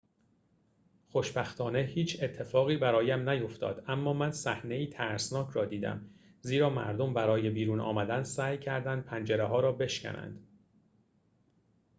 خوشبختانه هیچ اتفاقی برایم نیفتاد اما من صحنه‌ای ترسناک را دیدم زیرا مردم برای بیرون آمدن سعی کردند پنجره‌ها را بشکنند